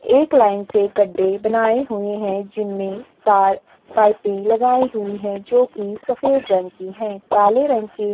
एक लाइन से गड्डे बनाये हुए हैं जिनमे तार पाइपें लगाई हुई हैं जोकि सफेद रंग की हैं काले रंग की --